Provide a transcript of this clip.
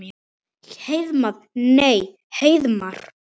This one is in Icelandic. Heiðmar. nei Heiðmar?